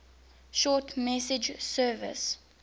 short message service